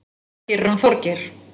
Það gerir hann Þorgeir.